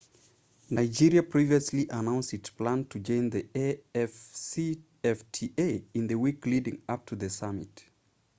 nigeria previously announced it planned to join the afcfta in the week leading up to the summit